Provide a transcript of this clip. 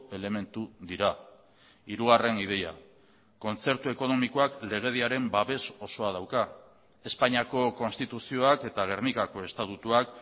elementu dira hirugarren ideia kontzertu ekonomikoak legediaren babes osoa dauka espainiako konstituzioak eta gernikako estatutuak